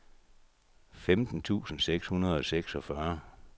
femten tusind seks hundrede og seksogfyrre